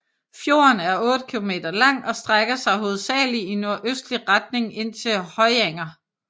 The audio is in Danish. Fjorden er otte kilometer lang og strækker sig hovedsagelig i nordøstlig retning ind til Høyanger